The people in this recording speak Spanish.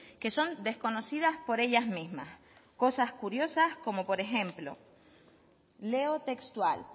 que son desconocidas por ellas mismas cosas curiosas como por ejemplo leo textual